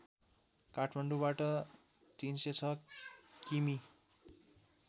काठमाडौँबाट ३०६ किमि